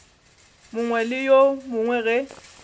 mongwe le yo mongwe ge